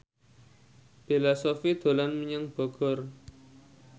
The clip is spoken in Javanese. Bella Shofie dolan menyang Bogor